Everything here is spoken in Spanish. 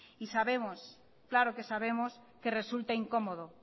y sabemos claro que sabemos que resulta incomodo